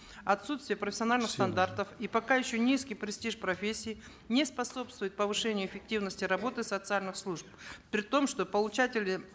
отсутствие профессиональных стандартов и пока еще низкий престиж профессии не способствует повышению эффективности работы социальных служб при том что получатели